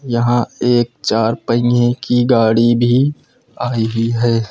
यहां एक चार पहिए की गाड़ी भी आई हुई है।